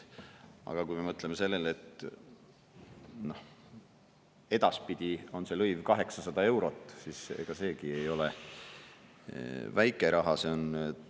Aga kui me mõtleme sellele, et edaspidi on see lõiv 800 eurot, siis ega see ei ole väike raha.